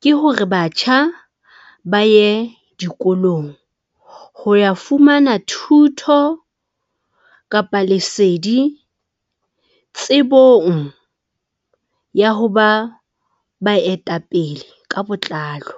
ke hore batjha ba ye dikolong ho ya fumana thuto kapa lesedi tsebong ya ho ba baetapele ka botlalo.